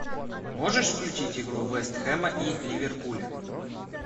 можешь включить игру вест хэма и ливерпуля